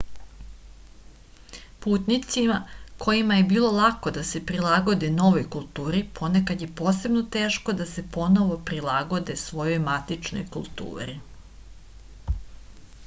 putnicima kojima je bilo lako da se prilagode novoj kulturi ponekad je posebno teško da se ponovo prilagode svojoj matičnoj kulturi